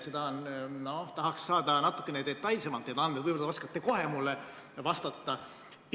Ma tahaks neid andmeid saada natuke detailsemalt, võib-olla oskate kohe mulle vastata.